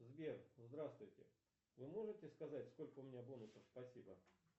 сбер здравствуйте вы можете сказать сколько у меня бонусов спасибо